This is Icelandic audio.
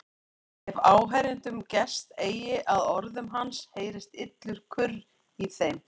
Ef áheyrendum gest eigi að orðum hans heyrist illur kurr í þeim.